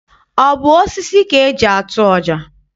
Ọ bụ osisi ka eji atụ ọja?